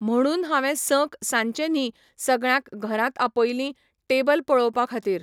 म्हणून हांवें संक सांचें न्ही सगळ्यांक घरांत आपयलीं, टेबल पळोवपा खातीर.